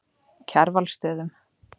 Kjarvalsstöðum